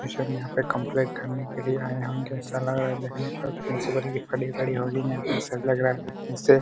Student यहां complete करने के लिए आय होंगे ऐसा लग रहा है देखने पर प्रिंसिपल की खड़ी खड़ी होगी है। यहां पर ऐसा लग रहा है देखने से--